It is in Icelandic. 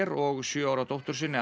og sjö ára dóttur sinni